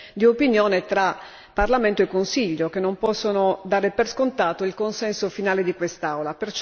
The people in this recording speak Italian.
di opinione tra Parlamento e Consiglio che non possono dare per scontato il consenso finale di quest'Aula.